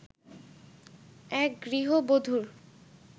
এক গৃহবধুর